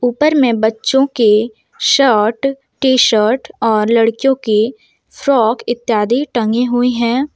ऊपर में बच्चो के शर्ट टी शर्ट और लड़कियों के फ्रॉक इत्यादि टंगे हुए हैं।